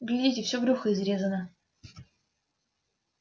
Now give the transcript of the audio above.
гляди всё брюхо изрезано